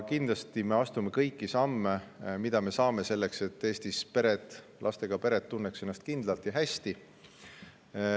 Kindlasti me astume kõiki samme, mida saame, selleks et pered, lastega pered tunneksid ennast Eestis kindlalt ja hästi.